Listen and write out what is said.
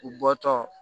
U bɔtɔ